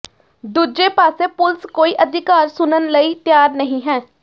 ਦੂਜੇ ਪਾਸੇ ਪੁਲਸ ਕੋਈ ਅਧਿਕਾਰੀ ਸੁਣਨ ਲਈ ਤਿਆਂਰ ਨਹੀ ਹੈ